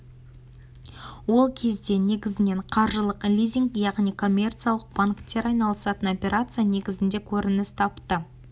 ол кезде негізінен қаржылық лизинг яғни коммерциялық банктер айналысатын операция негізінде көрініс тапты